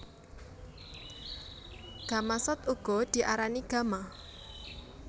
Gamasot uga diarani gama